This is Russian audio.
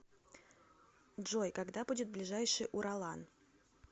джой когда будет ближайший уралан